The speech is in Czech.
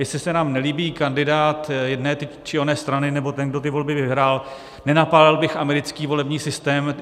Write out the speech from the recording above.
Jestli se nám nelíbí kandidát jedné či oné strany nebo ten, kdo ty volby vyhrál, nenapálil bych americký volební systém.